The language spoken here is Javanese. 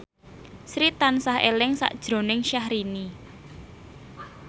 Sri tansah eling sakjroning Syahrini